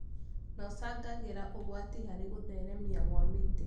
na ũcangagĩra ũgwati harĩ gũtheremia wa mĩtĩ